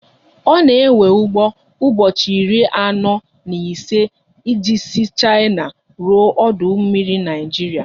Ọ na ewe ụgbọ ụbọchị iri anọ na ise e ji sị Shina ruo ọdụ mmiri Naịjiria